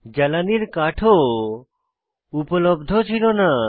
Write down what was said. জ্বালানির কাঠ ও উপলব্ধ ছিল না